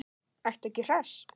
Ertu ekki hress?